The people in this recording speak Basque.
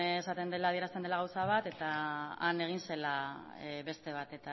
esaten dela adierazten dela gauza bat eta han egin zela beste bat